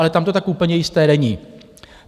Ale tam to tak úplně jisté není.